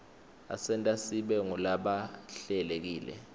asenta sibe ngulabahlelekile